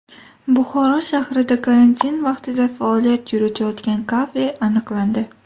Buxoro shahrida karantin vaqtida faoliyat yuritayotgan kafe aniqlandi.